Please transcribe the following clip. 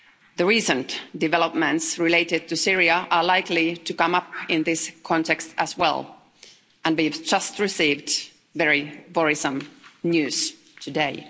The recent developments related to Syria are likely to come up in this context as well and we have just received very worrisome news today.